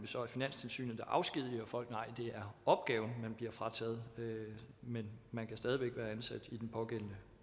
så er finanstilsynet der afskediger folk nej det er opgaven man bliver frataget men man kan stadig væk være ansat i den pågældende